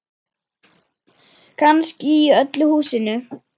Kannski í öllu húsinu.